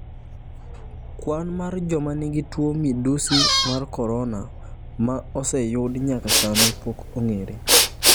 Kwan mar joma nigi tuo midusi mar korona ma oseyud nyaka sani pok ong'ere.